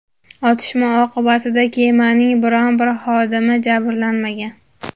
otishma oqibatida kemaning biron bir xodimi jabrlanmagan.